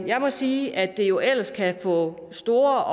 jeg må sige at det jo ellers kan få store